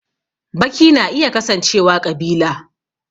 Baki na iya kasancewa ƙabila